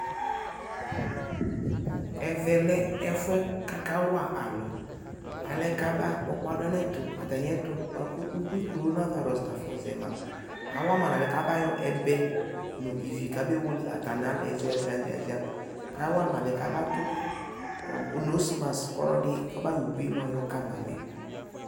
ɛvɛ lɛ ɛƒʋɛ kʋ aka wa alʋ alɛ kʋ aba kpɔkpɔa nʋ atami ɛtʋ kʋ corona virus naƒɔ zɛ ma, awama alɛnɛ kʋ aba yɔ ɛbɛɛ nʋ ivi kʋ abɛ wɛlɛ atani alaɛ ziaziazia kʋ awama alɛnɛ aba dʋ nose mask kʋ ɔlɔdi kɔma yɔ ʋbʋiɛ yɔ kama mɛ